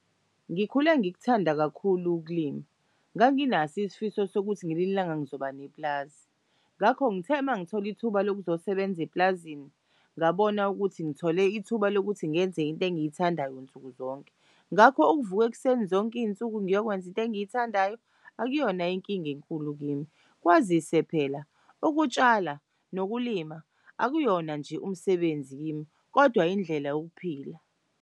Ngikhule ngikuthanda kakhulu ukulima nganginaso isifiso sokuthi ngelinye ilanga ngizoba nepulazi, ngakho ngithe mangithol' ithuba lokuzosebenza epulazini ngabona ukuthi ngithole ithuba lokuthi ngenze into engiyithandayo nsuku zonke. Ngakho uvuk'ekuseni zonke iy'nsuku ngiyokwenza into engiyithandayo akuyona inkinga enkulu kimi kwazise phela ukutshala nokulima akuyona nje umsebenzi kimi kodwa indlela yokuphila.